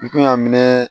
N kun y'a minɛ